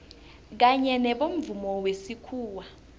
kanye nobomvumo wesikhuwa